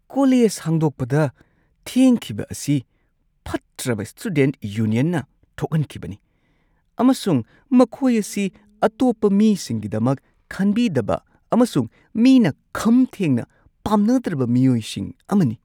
College ꯍꯥꯡꯗꯣꯛꯄꯗ ꯊꯦꯡꯈꯤꯕ ꯑꯁꯤ ꯐꯠꯇ꯭ꯔꯕ ꯁ꯭ꯇꯨꯗꯦꯟꯠ ꯌꯨꯅꯤꯌꯟꯅ ꯊꯣꯛꯍꯟꯈꯤꯕꯅꯤ ꯑꯃꯁꯨꯡ ꯃꯈꯣꯏ ꯑꯁꯤ ꯑꯇꯣꯞꯄ ꯃꯤꯁꯤꯡꯒꯤꯗꯃꯛ ꯈꯟꯕꯤꯗꯕ ꯑꯃꯁꯨꯡ ꯃꯤꯅ ꯈꯝ ꯊꯦꯡꯅ ꯄꯥꯝꯅꯗ꯭ꯔꯕ ꯃꯤꯑꯣꯏꯁꯤꯡ ꯑꯃꯅꯤ ꯫